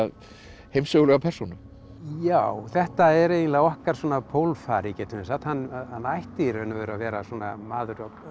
heimssögulega persónu já þetta er eiginlega okkar svona getum við sagt hann hann ætti í raun og veru að vera maður